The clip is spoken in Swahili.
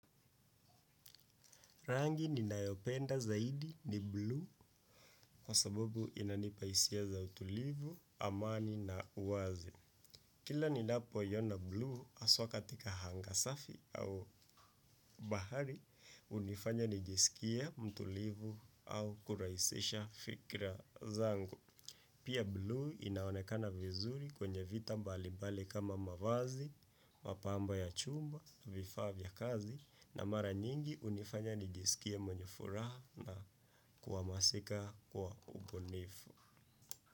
Rangi ninayopenda zaidi ni blue kwa sababu inanipa hisia za utulivu, amani na uwazi. Kila ninapo iona blue haswa katika hanga safi au bahari, hunifanya nijisikie mtulivu au kurahisisha fikra zangu. Pia blue inaonekana vizuri kwenye vita mbali mbali kama mavazi, mapambo ya chumba, vifaa vya kazi na mara nyingi hunifanya nijisikie mwenye furaha na kuwa masika kwa ubunifu.